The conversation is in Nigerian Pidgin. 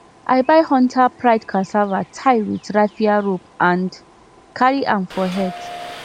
i buy hunter pride cassava tie with raffia rope and carry am for head